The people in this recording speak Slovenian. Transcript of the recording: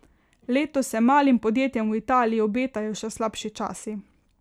Letos se malim podjetjem v Italiji obetajo še slabši časi.